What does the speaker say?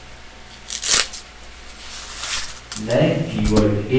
नये keyword in पर ध्यान दीजिये